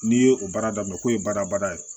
N'i ye o baara daminɛ k'o ye badabada ye